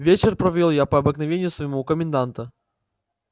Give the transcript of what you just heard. вечер провёл я по обыкновению своему у коменданта